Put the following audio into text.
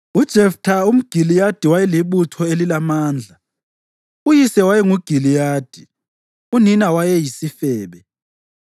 UJeftha umGiliyadi wayelibutho elilamandla. Uyise wayenguGiliyadi; unina wayeyisifebe.